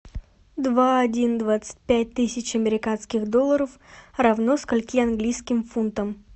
два один двадцать пять тысяч американских долларов равно скольки английским фунтам